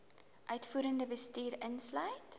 uitvoerende bestuur insluit